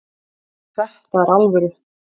Þetta er alvöru